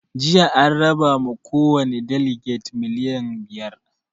Jiya an raba ma kowani daleges miliyan biyar